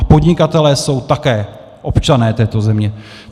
A podnikatelé jsou také občané této země.